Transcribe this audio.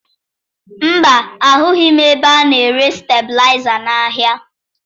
Mba, ahụghị m ebe a na-ere stebilaịza n'ahịa